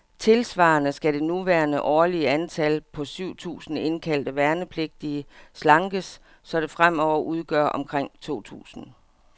Tilsvarende skal det nuværende årlige antal, på syv tusinde indkaldte værnepligtige, slankes, så det fremover udgør omkring to tusinde.